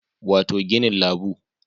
Wato ginin labu